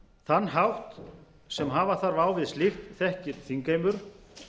þann hátt sem hafa þarf á við slíkt þekkir þingheimur